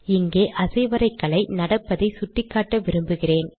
இங்கே அசைவரைகலை நடப்பதை சுட்டிக்காட்ட விரும்புகிறேன்